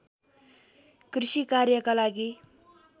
कृषि कार्यका लागि